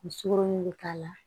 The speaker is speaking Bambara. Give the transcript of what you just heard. U sugoro bɛ k'a la